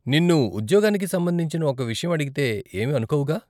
నిన్ను ఉద్యోగానికి సంబంధించిన ఒక విషయం అడిగితే ఏమీ అనుకోవుగా?